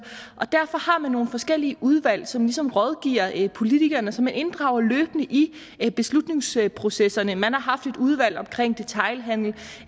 og derfor har man nogle forskellige udvalg som ligesom rådgiver politikerne og som man løbende inddrager i beslutningsprocesserne man har haft et udvalg omkring detailhandel